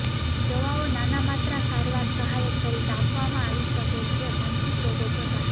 દવાઓ નાના માત્રા સારવાર સહાયક તરીકે આપવામાં આવી શકે છે માનસિક રોગો પ્રકાર